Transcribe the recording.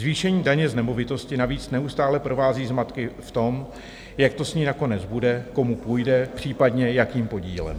Zvýšení daně z nemovitostí navíc neustále provází zmatky v tom, jak to s ní nakonec bude, komu půjde, případně jakým podílem.